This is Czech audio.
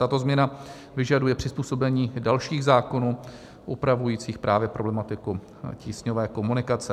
Tato změna vyžaduje přizpůsobení dalších zákonů, upravujících právě problematiku tísňové komunikace.